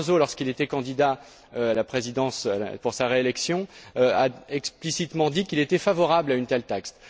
Barroso, lorsqu'il était candidat à la présidence pour sa réélection, a explicitement dit qu'il était favorable à une telle taxe.